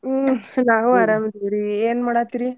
ಹ್ಮ್ ನಾವು ಅರಾಮ್ ಅದಿವ್ ರೀ ಏನ್ ಮಾಡಾತ್ತೀರೀ?